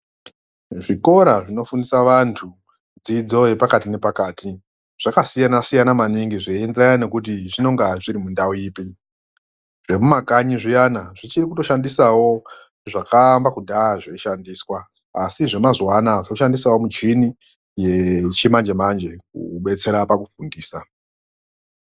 Zvikora zvinofundisa vantu dzidzo yepakati zvakasiyana siyana maningi zveenderana nekuti zvinenge zbiri mundau ipi. Zvemumakanyi zviyani zvichiri kushandisawo zviyani zvakaamba kudhaya zveishandiswa. ASI zvemazuvaanaya zvoshandisawo muchini yechimanje manje kubetsera pakufundisa.